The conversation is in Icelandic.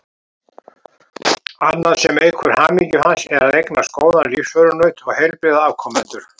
Annað sem eykur hamingju hans er að eignast góðan lífsförunaut og heilbrigða afkomendur.